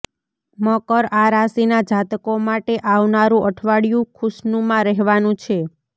મકર આ રાશિના જાતકો માટે આવનારું અઠવાડિયું ખુશનુમા રહેવાનું છે